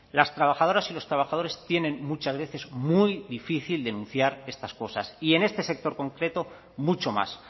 las trabajadoras y los trabajadores tienen muchas veces muy difícil denunciar estas cosas y en este sector concreto mucho más